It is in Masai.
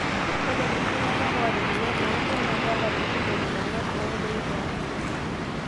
ore kuti tunganak oota emoyian oonkung naa keeta kutik belekenyak oo loik toonkung